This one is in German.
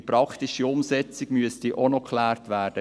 Die praktische Umsetzung müsste auch noch geklärt werden.